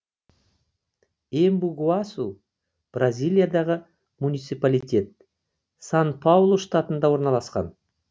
эмбу гуасу бразилиядағы муниципалитет сан паулу штатында орналасқан